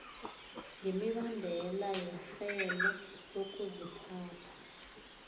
ngemibandela yerhelo lokuziphatha